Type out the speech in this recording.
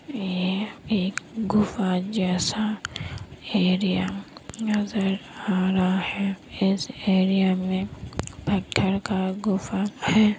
ये एक गुफा जैसा एरिया नजर आ रहा है| इस एरिया में पत्थर का गुफा है ।